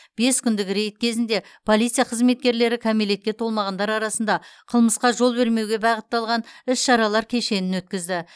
бес күндік рейд кезінде полиция қызметкерлері кәмелетке толмағандар арасында қылмысқа жол бермеуге бағытталған іс шаралар кешенін өткізді